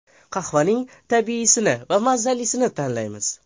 Qahvaning tabiiysini va mazalisini tanlaymiz.